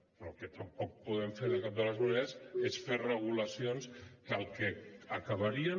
però el que tampoc podem fer de cap de les maneres és fer regulacions que el que acabarien